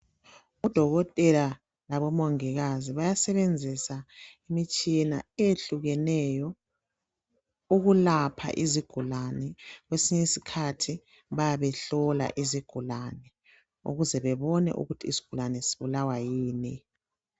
UDokotela labomongikazi bayasebenzisa imitshina etshiyeneyo ukwelapha isigulane kumbe ukuhlola isigulane ukuze babone ukuthi isigulane sibulawa yini.